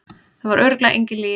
Það var örugglega engin lygi.